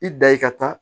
I da ye ka taa